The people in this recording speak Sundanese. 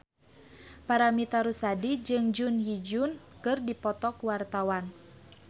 Paramitha Rusady jeung Jun Ji Hyun keur dipoto ku wartawan